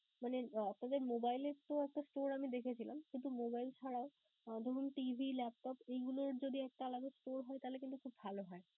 মানে তবে mobile এর তো একটা store আমি দেখেছিলাম কিন্তু mobile ছাড়াও আহ ধরুন TV, Laptop এইগুলোর যদি একটা আলাদা store হয় তাইলে কিন্তু খুব ভালো হয়.